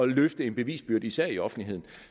løfte en bevisbyrde især i offentligheden